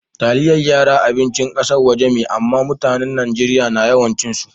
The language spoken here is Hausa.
Taliyan yara abincin kassan waje me, amma mutanen Nijeriya na yawan cin su.